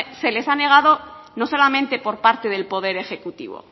se les ha negado no solamente por parte del poder ejecutivo